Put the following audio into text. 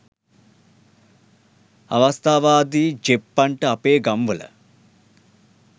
අවස්ථාවාදි ජෙප්පන්ට අපේ ගම් වල